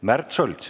Märt Sults.